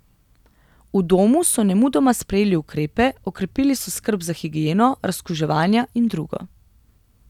V domu so nemudoma sprejeli ukrepe, okrepili so skrb za higieno, razkuževanja in drugo.